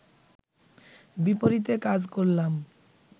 বিপরীতে কাজ করলাম